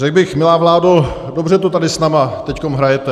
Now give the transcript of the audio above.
Řekl bych, milá vládo, dobře to tady s námi teď hrajete.